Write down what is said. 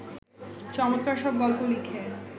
চমৎকার সব গল্প লিখে